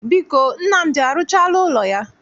Biko, Nnamdi arụchaala ụlọ ya?